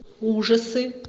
ужасы